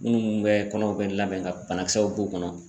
Minnu bɛ kɔnɔw bɛ labɛn ka banakisɛw b'u kɔnɔ